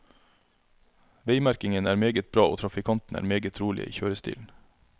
Veimerkingen er meget bra og trafikantene er meget rolige i kjørestilen.